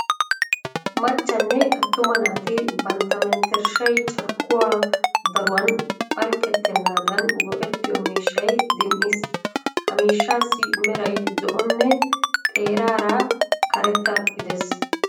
Macca nne attuma naati bantta menttershshay carkkuwa daruwan phalqqettennaadan go"ettiyo miishshay zin"is. Ha miishshaassi meray zo"o nne xeeraara karetta gidees.